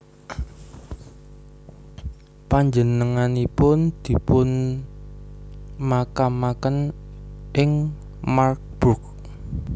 Panjenenganipun dipunmakamaken ing Marburg